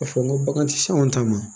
A fɔ n ko bagan tɛ se anw ta ma